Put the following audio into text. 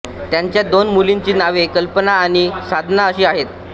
त्यांच्या दोन मुलींची नावे कल्पना आणि साधना अशी आहेत